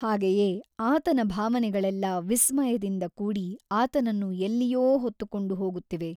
ಹಾಗೆಯೇ ಆತನ ಭಾವನೆಗಳೆಲ್ಲ ವಿಸ್ಮಯದಿಂದ ಕೂಡಿ ಆತನನ್ನು ಎಲ್ಲಿಯೋ ಹೊತ್ತುಕೊಂಡು ಹೋಗುತ್ತಿವೆ.